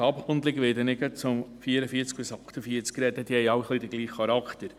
Diese haben alle ein wenig den gleichen Charakter.